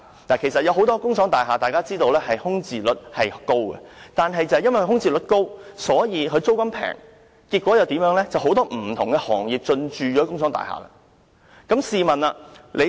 大家都知道很多工廠大廈的空置率高，正因為空置率高，租金便低，結果有很多不同的行業進駐工廠大廈。